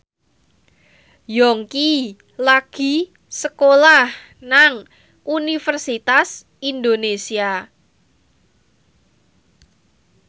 Yongki lagi sekolah nang Universitas Indonesia